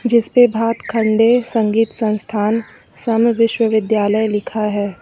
जिस पे भातखण्डे संगीत संस्थान समविश्वविद्यालय लिखा है।